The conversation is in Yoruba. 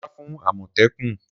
Sá fún àmọ̀tẹ́kùn!